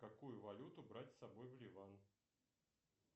какую валюту брать с собой в ливан